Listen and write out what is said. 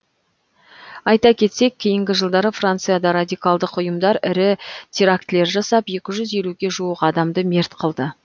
айта кетсек кейінгі жылдары францияда радикалдық ұйымдар ірі терактілер жасап екі жүз елуге жуық адамды мерт қылды